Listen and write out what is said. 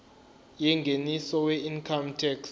yengeniso weincome tax